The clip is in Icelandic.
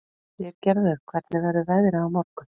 Styrgerður, hvernig verður veðrið á morgun?